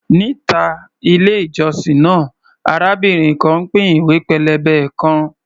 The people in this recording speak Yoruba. Níta ilé-ìjọsìn náà, arábìnrin kan ń pín ìwé pélébé kan.